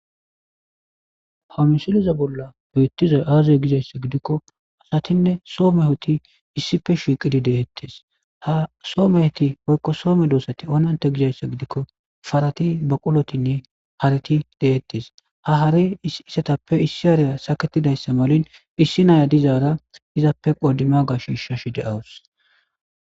hamisiliza bolla biyittiza aaze gizayssa gidikko asatinne soo mehoti issife shiqidi deettes ha soo meheti hoykko soome doosati onante gizayssa gidikko farati baqulotinne hariti deettes ha hare isetappe issi hariya saketidayssa malin issi naya dizaara izappe qodima gashishashi de7awus